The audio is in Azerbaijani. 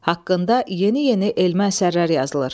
Haqqında yeni-yeni elmi əsərlər yazılır.